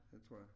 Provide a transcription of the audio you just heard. Det tror jeg